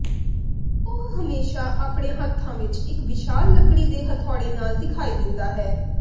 ਉਹ ਹਮੇਸ਼ਾ ਆਪਣੇ ਹੱਥਾਂ ਵਿੱਚ ਇੱਕ ਵਿਸ਼ਾਲ ਲੱਕੜੀ ਦੇ ਹਥੌੜੇ ਨਾਲ ਦਿਖਾਈ ਦਿੰਦਾ ਹੈ